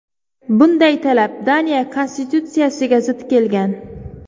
Bunday talab Daniya konstitutsiyasiga zid kelgan.